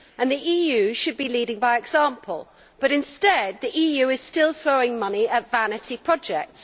The EU should be leading by example, but instead it is still throwing money at vanity projects.